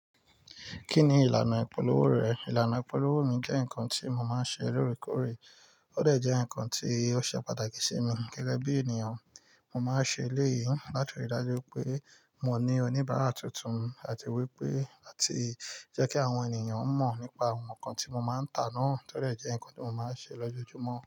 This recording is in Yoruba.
Kí ni ìlànà ìpolówó rẹ̀? Ìlànà ìpolówó mi jẹ́ nǹkan tí mo máa ń ṣe lóòrèkóòrè, ó de jẹ́ nǹkan tí ó ṣe pàtàkì sí mi gẹ́gẹ́ bí ènìyàn. Mo máa ń ṣe eléyìí láti rí i dájú pé mo ní oníbàárà tuntun àti wípé láti jẹ́ kí àwọn ènìyàn mọ̀ nípa àwọn nǹkan tí mo máa ń tà náà tọ́dẹ́ jẹ́ nǹkan tí mo máa ń ṣe lójoojúmọ́